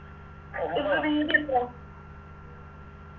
ഇന്ന് തിയ്യതി എത്രയാ